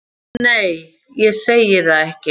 Nei, ég segi það ekki.